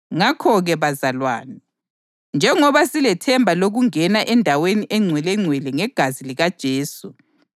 Nxa lezi sezithethelelwe, kawusekho umhlatshelo wesono. Inkuthazo Yokubekezela